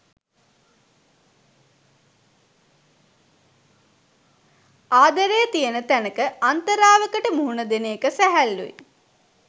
ආදරය තියෙන තැනක අන්තරාවකට මුහුණ දෙන එක සැහැල්ලුයි.